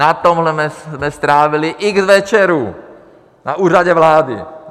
Na tomhle jsme strávili x večerů na úřadě vlády.